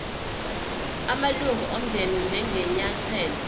amalunga omndeni njengenyathelo